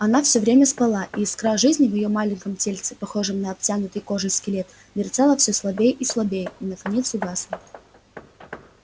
она всё время спала и искра жизни в её маленьком тельце похожем на обтянутый кожей скелет мерцала всё слабее и слабее и наконец угасла